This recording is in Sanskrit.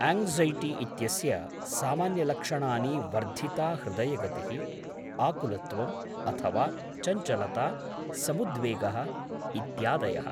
आङ्क्सैटि इत्यस्य सामान्यलक्षणानि वर्धिता हृदयगतिः, आकुलत्वं अथवा चञ्चलता, समुद्वेगः इत्यादयः।